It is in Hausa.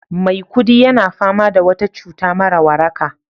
Maikudi yana fama da wata cuta mara waraka